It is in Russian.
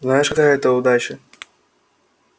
знаешь какая это удача